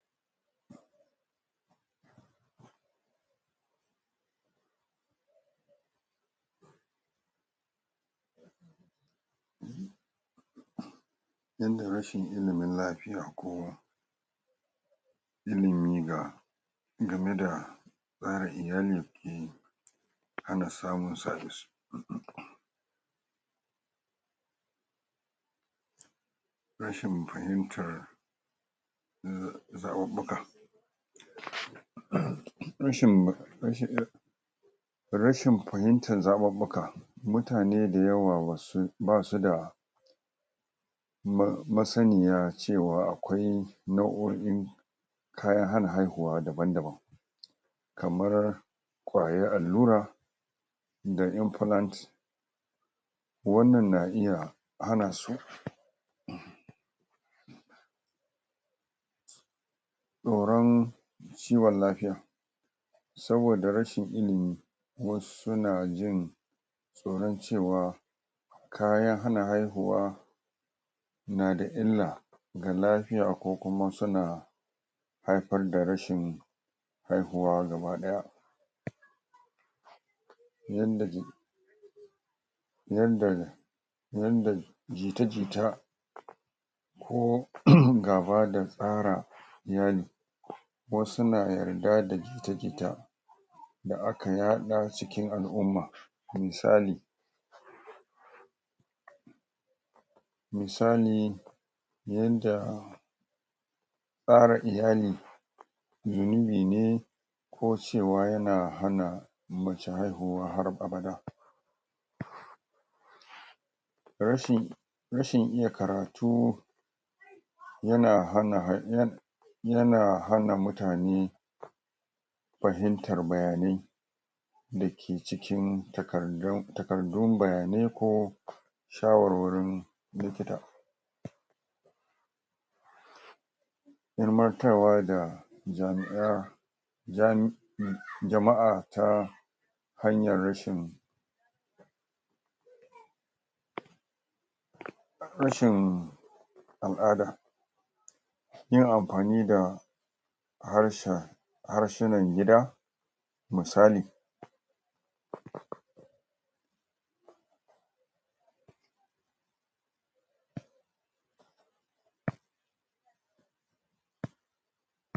yanda rashin ilimin lafiya ko ilimi ga game da tsara iyalin ke hana samun sa rashin fahimtar zaɓaɓɓuka rashin rashin fahimtan zaɓaɓɓuka mutane da yawa wasu basuda ma masaniya cewa akwai nau'o'in kayan hana haihuwa daban-daban kamar ƙwayar allura ida inplant wannan na iya hana su tsoron kiwon lafiya saboda rashin ilimi wasu na jin tsoron cewa kayan hana haihuwa nada illa ga lafiya ko kuma suna haifar da rashin haihuwa gaba ɗaya yadda ji yanda yanda jita-jita ko [uhunmm] gaba da tsara iyali wasu na yarda da jita-jita da aka yaɗa cikin al'umma misali misali yanda tsara iyali zunubi ne ko cewa yana hana mace haihuwa har babada rashin rashin iya karatu yana hana hai yan yana hana mutane fahimtar bayanai dake cikin takardar takardun bayanai ko shawarwarin likita. ilmantarwa da jami'a jam jama'a ta hanyar rashin rashin al'ada yin amfani da harshen harshinan gida misali